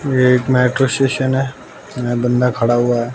एक metro station है बंदा खड़ा हुआ--